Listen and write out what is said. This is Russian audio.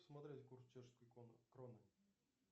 смотреть курс чешской кроны